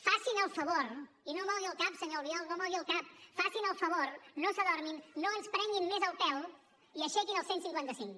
facin el favor i no mogui el cap senyor albiol no mogui el cap facin el favor no s’adormin no ens prenguin més el pèl i aixequin el cent i cinquanta cinc